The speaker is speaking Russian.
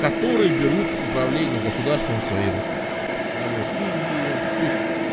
который берут управления государством в свои руки ну вот и и то есть